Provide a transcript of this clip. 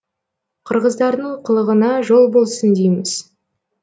қырғыздардың қылығына жол болсын дейміз